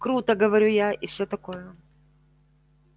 круто говорю я и все такое